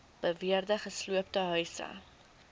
beweerde gesloopte huise